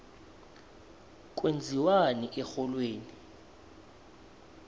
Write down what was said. kwenziwani erholweni